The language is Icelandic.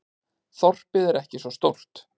Þorpið er ekki svo stórt.